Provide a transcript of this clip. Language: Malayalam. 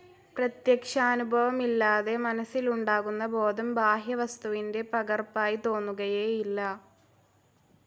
പ്രത്യക്ഷാനുഭവമില്ലാതെ, മനസ്സിലുണ്ടാകുന്ന ബോധം ബാഹ്യവസ്തുവിന്റെ പകർപ്പായി തോന്നുകയേയില്ല.